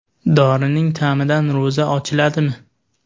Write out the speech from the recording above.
Dorining ta’midan ro‘za ochiladimi?.